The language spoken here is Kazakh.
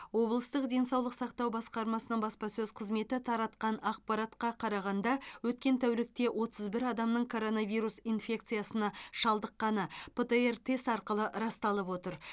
облыстық денсаулық сақтау басқармасының баспасөз қызметі таратқан ақпаратқа қарағанда өткен тәулікте отыз бір адамның коронавирус инфекциясына шалдыққаны птр тест арқылы расталып отыр